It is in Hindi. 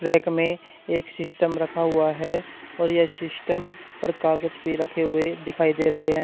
रैक में एक सिस्टम रखा हुआ है और यह सिस्टम पर कागज भी रखे हुए दिखाई दे रहे हैं।